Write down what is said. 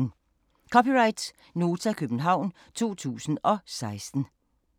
(c) Nota, København 2016